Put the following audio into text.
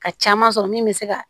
Ka caman sɔrɔ min bɛ se ka